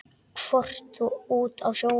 Horfði út á sjóinn.